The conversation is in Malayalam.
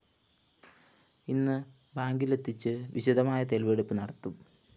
ഇന്ന്് ബാങ്കിലെത്തിച്ചു വിശദമായ തെളിവെടുപ്പ് നടത്തും